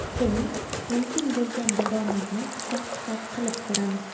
Keling, mumkin bo‘lgan daromadni hisob-kitob qilib ko‘ramiz!